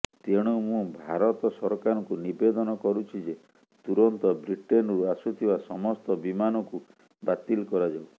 ତେଣୁ ମୁଁ ଭାରତ ସରକାରଙ୍କୁ ନିବେଦନ କରୁଛି ଯେ ତୁରନ୍ତ ବ୍ରିଟେନରୁ ଆସୁଥିବା ସମସ୍ତ ବିମାନକୁ ବାତିଲ କରାଯାଉ